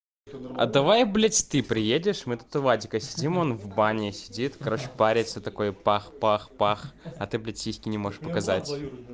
а давай блять ты приедешь мы тут у вадика сидим он в бане сидит короче париться такой бах бах бах а ты блять сиськи не можешь показать